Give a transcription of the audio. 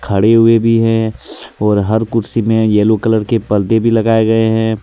खड़े हुए भी है और हर कुर्सी में येलो कलर के पर्दे भी लगाए गए हैं.